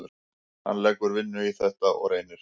Hann leggur vinnu í þetta og reynir.